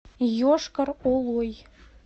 йошкар олой